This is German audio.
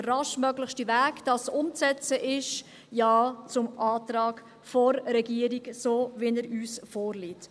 Der raschestmögliche Weg, um dies umzusetzen, ist ein Ja zum Antrag der Regierung, so wie er uns vorliegt.